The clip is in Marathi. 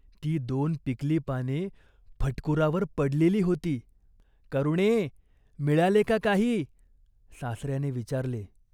ती दोन पिकली पाने फटकुरावर पडलेली होती. "करुणे, मिळाले का काही ?" सासर्याने विचारले.